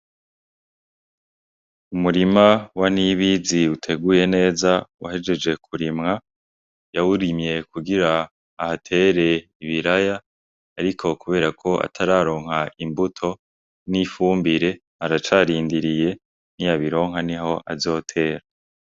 Umurima wa Nibizi uteguye neza uhejeje kurimwa. Yawurimye kugira ahatere ibiraya ariko kuberako atararonka imbuto nifumbire aracarindiriye niyabironka niho azotera.